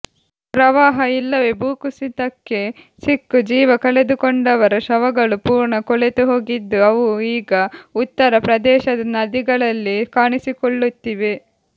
ಪ್ರವಾಹ ಇಲ್ಲವೆ ಭೂಕುಸಿತಕ್ಕೆ ಸಿಕ್ಕು ಜೀವ ಕಳೆದುಕೊಂಡವರ ಶವಗಳು ಪೂರ್ಣ ಕೊಳೆತುಹೋಗಿದ್ದು ಅವು ಈಗ ಉತ್ತರ ಪ್ರದೇಶದ ನದಿಗಳಲ್ಲಿ ಕಾಣಿಸಿಕೊಳ್ಳುತ್ತಿವೆ